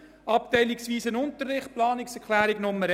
«Abteilungsweiser Unterricht», Planungserklärung 1: